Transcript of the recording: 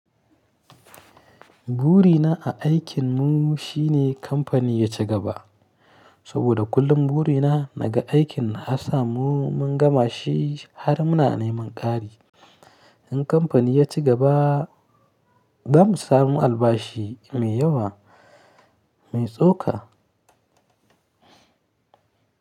Burina a aikin mu shine kamfani ya ci gaba, saboda kullum burina daga aikin na ha sa mu mun gama shi har muna neman ƙari. In kamfani ya ci gaba, za mu samu albashi mai yawa mai tsoka.